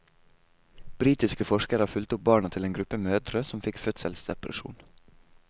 Britiske forskere har fulgt opp barna til en gruppe mødre som fikk fødselsdepresjon.